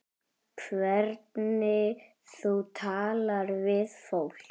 Hvernig þú talar við fólk.